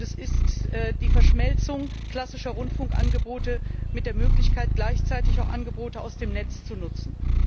Es ist die Verschmelzung klassischer Rundfunkangebote mit der Möglichkeit, gleichzeitig auch Angebote aus dem Netz zu nutzen.